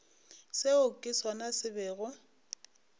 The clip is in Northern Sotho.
seo ke sona se bego